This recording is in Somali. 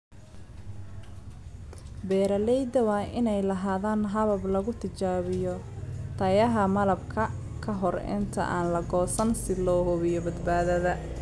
Beeralayda waa inay lahaadaan habab lagu tijaabiyo tayada malabka ka hor inta aan la goosan si loo hubiyo badbaadada.